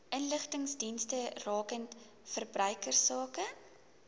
inligtingsdienste rakende verbruikersake